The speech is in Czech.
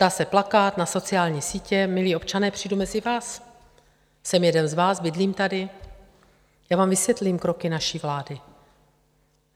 Dá se plakát na sociální sítě - milí občané, přijdu mezi vás, jsem jeden z vás, bydlím tady, já vám vysvětlím kroky naší vlády.